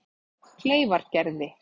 Kleifargerði